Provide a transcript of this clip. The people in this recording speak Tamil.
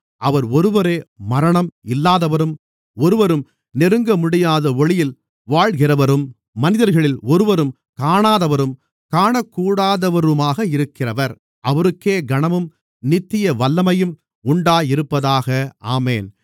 அவர் ஒருவரே மரணம் இல்லாதவரும் ஒருவரும் நெருங்கமுடியாத ஒளியில் வாழ்கிறவரும் மனிதர்களில் ஒருவரும் காணாதவரும் காணக்கூடாதவருமாக இருக்கிறவர் அவருக்கே கனமும் நித்திய வல்லமையும் உண்டாயிருப்பதாக ஆமென்